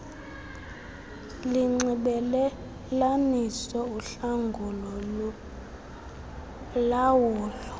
linxibelelanisa uhlangulo lulawula